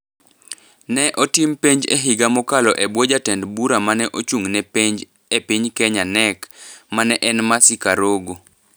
Ne otim penj e higa mokalo e bwo jatend bura ma ne ochung’ ne penj e piny Kenya (KNEC) ma ne en Mercy Karogo.